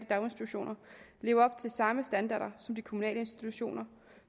daginstitutioner leve op til samme standarder som de kommunale institutioner